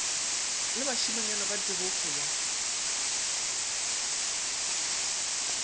le bašimanyana ba tebego ya